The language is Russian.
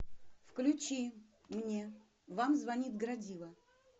включи мне вам звонит градива